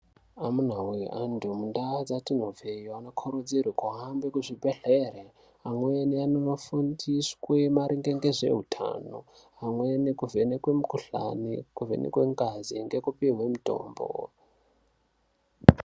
Amuna voye antu mundaa dzatinobva anokurudzirwa kuhambe kuzvibhedhlere. Amweni anonofundiswa maringe ngezvehutano, amweni kuvhenekwe mukuhlani, kuvhenekwe ngazi ngekupuhwe mutombo.